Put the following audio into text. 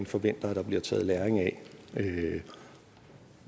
forventer at der bliver taget læring af